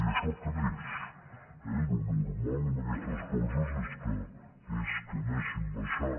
i això creix eh el normal en aquestes coses és que anessin baixant